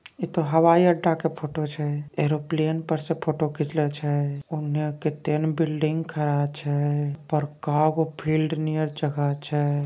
इ तो हवाई अड्डे के फोटो का छै । एरोप्लेन पर से फोटो खिचलों छै। ओने कित्तेन बिल्डिंग खड़ा छै। बड़का गो फील्ड नीयर जगह छै ।